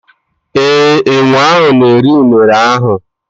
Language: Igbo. ee, enwe ahụ na-eri Unere ahụ.